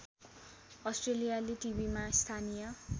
अस्ट्रेलियाली टिभिमा स्थानीय